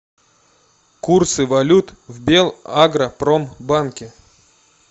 курсы валют в белагропромбанке